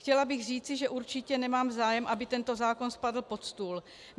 Chtěla bych říci, že určitě nemám zájem, aby tento zákon spadl pod stůl.